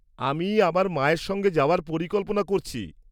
-আমি আমার মায়ের সঙ্গে যাওয়ার পরিকল্পনা করছি।